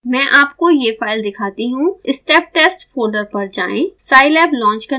मैं आपको यह फाइल दिखाती हूँ step test फोल्डर पर जाएँ